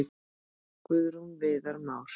Guðrún og Viðar Már.